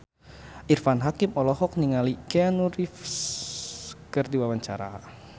Irfan Hakim olohok ningali Keanu Reeves keur diwawancara